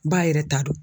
Baa yɛrɛ ta don